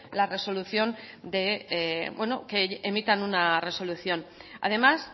que emitan una resolución además